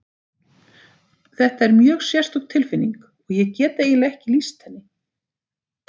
Þetta er mjög sérstök tilfinning og ég get eiginlega ekki lýst henni.